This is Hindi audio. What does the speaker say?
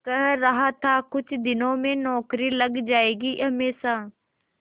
कह रहा था कुछ दिनों में नौकरी लग जाएगी हमेशा